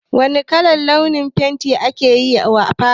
Wane kalan fenti aka yi wa falon?